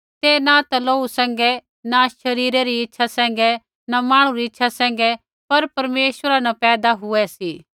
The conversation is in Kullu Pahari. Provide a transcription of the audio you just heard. ते न ता लोहू सैंघै न शरीरा री इच्छा सैंघै न मांहणु री इच्छा सैंघै पर परमेश्वरा न पैदा हुऐ सी